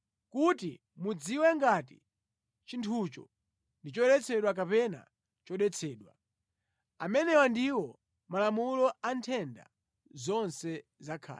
kuti mudziwe ngati chinthucho ndi choyeretsedwa kapena chodetsedwa. Amenewa ndiwo malamulo a nthenda zonse za khate.